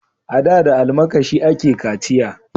A da da almakashi a ke kaciya